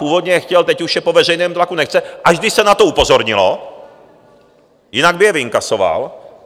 Původně je chtěl, teď už je po veřejném tlaku nechce, až když se na to upozornilo, jinak by je vyinkasoval.